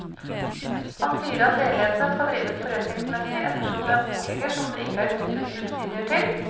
Han sier at leilighetene skal drives forretningsmessig ettersom det er boliger som det ikke er knyttet subsidier til.